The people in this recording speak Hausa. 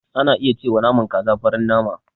Ana iya cewa naman kaza farin nama.